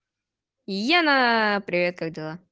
яна привет как дела